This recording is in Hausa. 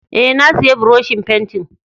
Eh, na siya buroshin fentin.